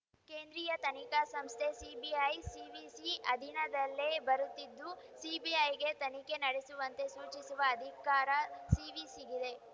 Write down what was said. ಕೇಂದ್ರೀಯ ತನಿಖಾ ಸಂಸ್ಥೆ ಸಿಬಿಐ ಸಿವಿಸಿ ಅಧೀನದಲ್ಲೇ ಬರುತ್ತಿದ್ದು ಸಿಬಿಐಗೆ ತನಿಖೆ ನಡೆಸುವಂತೆ ಸೂಚಿಸುವ ಅಧಿಕಾರ ಸಿವಿಸಿಗಿದೆ